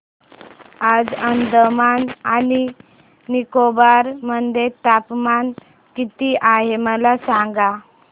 आज अंदमान आणि निकोबार मध्ये तापमान किती आहे मला सांगा